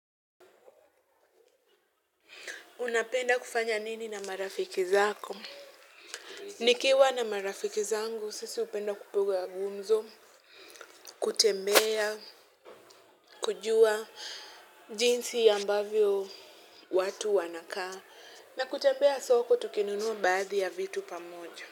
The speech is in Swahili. Unapenda kufanya nini na marafiki zako? Nikiwa na marafiki zangu, sisi hupenda kupiga gumzo, kutembea, kujua jinsi ya ambavyo watu wanakaa. Na kutembea soko, tukinunua baadhi ya vitu pamoja.